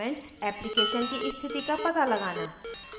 application की स्थिति का पता लगाना